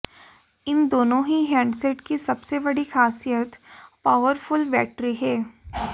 इन दोनों ही हैंडसेट की सबसे बड़ी खासियत पावरफुल बैटरी है